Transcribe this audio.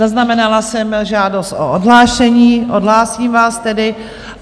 Zaznamenala jsem žádost o odhlášení, odhlásím vás tedy.